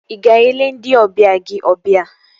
Ị ga-ele ndị ọbịa gị ọbịa?